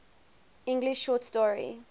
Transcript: english short story